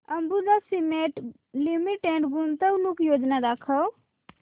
Ambuja cement limited गुंतवणूक योजना दाखव